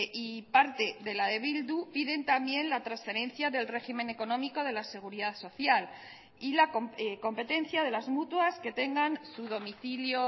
y parte de la de bildu piden también la transferencia del régimen económico de la seguridad social y la competencia de las mutuas que tengan su domicilio